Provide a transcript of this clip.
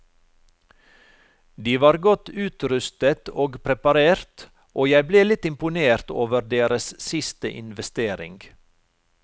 De var godt utrustet og preparert, og jeg ble litt imponert over deres siste investering.